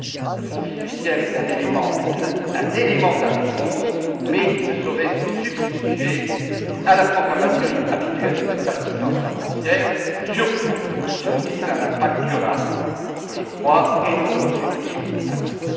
Le fonds fiduciaire est un élément de la réponse, mais il ne saurait se substituer à la programmation habituelle de notre assistance financière, surtout si nous visons un impact durable ce que je crois est notre objectif à tous.